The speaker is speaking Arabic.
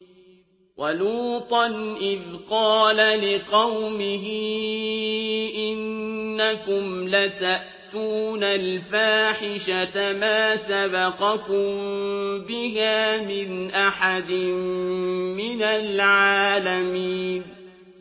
وَلُوطًا إِذْ قَالَ لِقَوْمِهِ إِنَّكُمْ لَتَأْتُونَ الْفَاحِشَةَ مَا سَبَقَكُم بِهَا مِنْ أَحَدٍ مِّنَ الْعَالَمِينَ